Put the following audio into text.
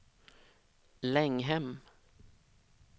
Länghem